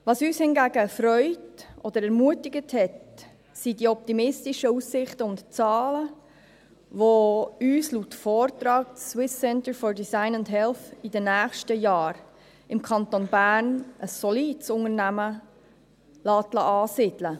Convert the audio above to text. Was uns hingegen freut oder ermutigt hat, sind die optimistischen Aussichten und Zahlen, welche uns laut Vortrag das SCDH in den nächsten Jahren im Kanton Bern ein solides Unternehmen ansiedeln lässt.